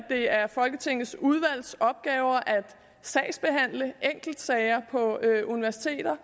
det er folketingets udvalgs opgave at sagsbehandle enkeltsager på universiteter